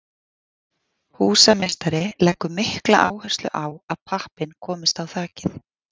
Húsameistari leggur mikla áherslu á að pappinn komist á þakið.